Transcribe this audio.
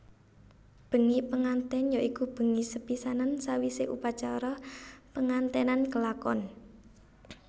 Bengi pengantèn ya iku bengi sepisanan sawisé upacara penganténan kelakon